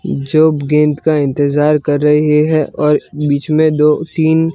जो गेंद का इंतजार कर रही है और बीच में दो तीन--